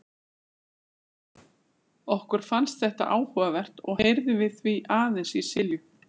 Okkur fannst þetta áhugavert og heyrðum við því aðeins í Silju.